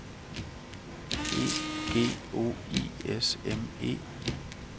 E G O I S M E